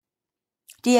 DR1